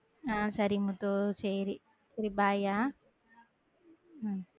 ஆஹ் சேரி முத்து சேரி சரி bye ஆஹ்